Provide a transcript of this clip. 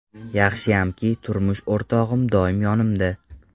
Yaxshiyamki, turmush o‘rtog‘im doim yonimda.